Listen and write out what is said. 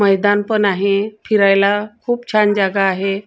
मैदान पण आहे फिरायला खूप छान जागा आहे.